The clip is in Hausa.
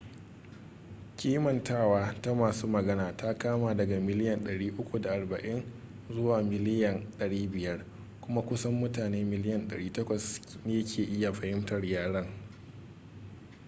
kimantawa ta masu magana ta kama daga miliyan 340 zuwa miliyan 500 kuma kusan mutane miliyan 800 ne ke iya fahimtar yaren